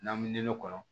N'an bɛ nɔnɔkɔnɔ